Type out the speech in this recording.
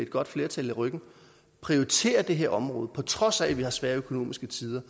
godt flertal i ryggen prioriterer det her område på trods af at vi har svære økonomiske tider